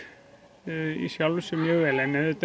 í sjálfu sér mjög vel en þetta